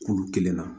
Kulu kelenna